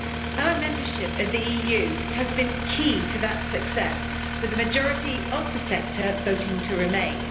Our membership of the EU has been key to that success, with the majority of the sector voting to remain.